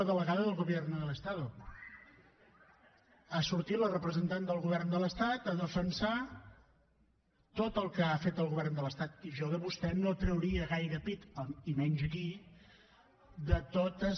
la delegada del gobierno del estado ha sortit la representant del govern de l’estat a defensar tot el que ha fet el govern de l’estat i jo de vostè no trauria gaire pit i menys aquí de totes